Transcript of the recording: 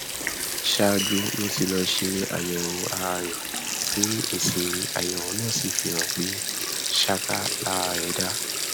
ṣáájú ló ti lọọ ṣe àyẹwò ara rẹ tí èsìàyẹwò náà sì fi hàn pé ṣáká lara rẹ dá